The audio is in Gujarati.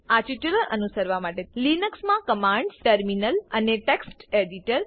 આ ટ્યુટોરીયલ અનુસરવા માટે લિનક્સ મા કમાન્ડ્સ ટર્મિનલ અને text એડિટર